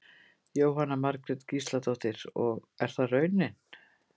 Jóhanna Margrét Gísladóttir: Og er það raunin?